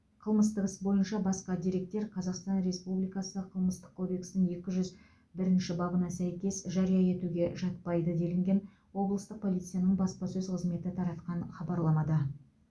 қылмыстық іс бойынша басқа деректер қазақстан республикасы қылмыстық кодексінің екі жүз бірінші бабына сәйкес жария етуге жатпайды делінген облыстық полицияның баспасөз қызметі таратқан хабарламада